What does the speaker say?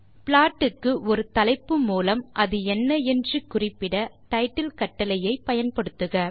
plot க்கு ஒரு தலைப்பு மூலம் அது என்ன என்று குறிப்பிட டைட்டில் கட்டளையை பயன்படுத்துக